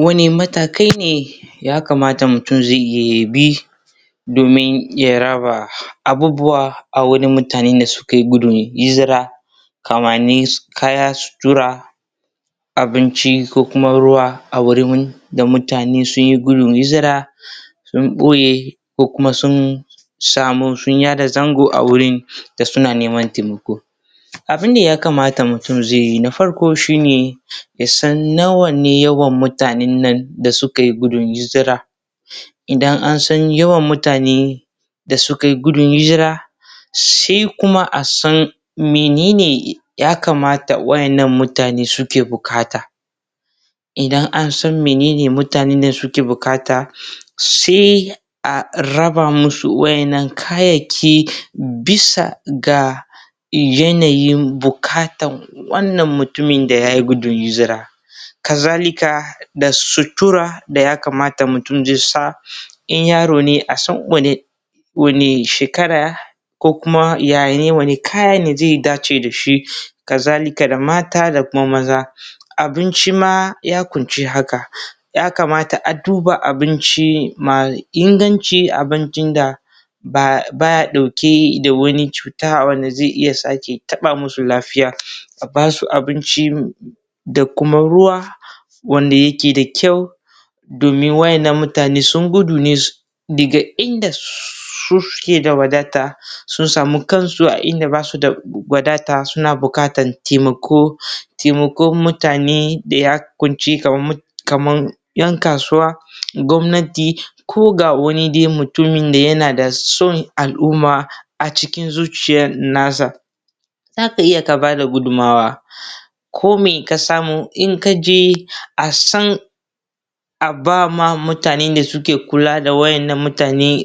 wanne matakai ne ya kamata mutum zai iya yi yabi dmin ya raba abubuwa a wurin mutanen da suke gudun hijira kamani kaya su tura abinci ko kuma ruwa aa wurin da mutane sun yi gudun hijira don boye ko kuma sun samu sun ya da zango a wurin da suna neman taimako abun da ya kaamata mutum zai yi na farko shi ne ya san nawa ne mutanen nan da sukai gudun hijira idan an san yawan mutane da sukai gudun hijira sai kuma a san mene ne yakamata wayannan mutane suke buƙata idan an san menen ne mutanen nan suke buƙata sai a raba musu wayannan kayayyaki bisa ga yanayin bukatan wannan mutumin da ya yi gudun hijira kazalika da sutura da ya kamata mutum zai sa in yaro ne a san wanne wanne shekara ko kuma ya ya wanne kaya ne zai dace da shi kazalika da mata da kuma maza abinci ma ya kunshi haka yakamata a duba abinci mai inganci abincin da ba baya ɗauke da wani cuta wanda zai iya sake taɓa musu lafiya ab basu abinci da kuma ruwa wanda yake da kyau wayannan mutane sun gudu ne daga inda suke da wadata sun samu kansu a inda basu da wadata suna bukatan taimako taimakon mutane da ya kunshi kaman 'yan kasuwa gwamnati ko ga wani dai mutum da yana da son al'umma a cikin zuciyan nasa za ka iya ka bada gudunmawa ko me ka samu in ka je a san a bama mutanen da suke kula da wayannan mutane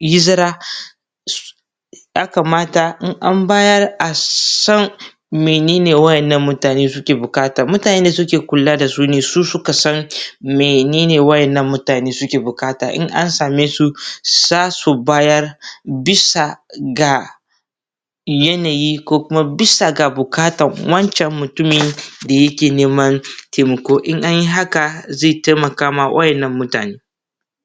hizira ya kamata in bayar a san mene ne wayannan mutane suke buƙata mutanen da suke kula da su ne su suka san mene ne wayannan mutane suke buƙata in an same su za su bayar bisa ga yana yi ko bisa ga bukatan wancen mutumin da yake neman taimako in an yi haka zai taimakawa wayannan mutane